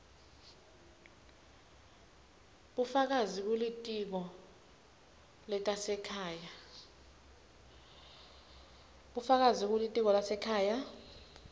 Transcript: bufakazi kulitiko letasekhaya